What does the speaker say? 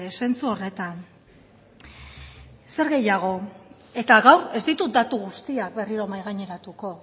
zentzu horretan zer gehiago eta gaur ez ditut datu guztiak berriro mahai gaineratuko